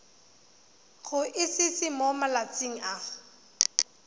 go itsise mo malatsing a